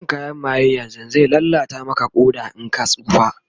Shan kayan maye yanzun zai lallata Maka Ƙoda in ka tsufa